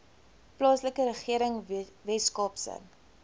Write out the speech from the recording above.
plaaslike regering weskaapse